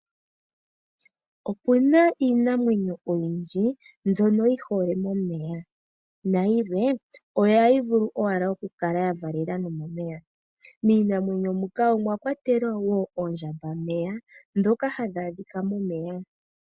Opena iinamwenyo oyindji mbyono yi hole momeya nayilwe ohayi vulu owala okukala ya gandjela oluvalo nomomeya. Miinamwenyo mbika omwa kwatelwa oondjambameya ndhoka hadhi adhika momeya.